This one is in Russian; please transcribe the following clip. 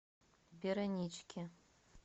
вероничке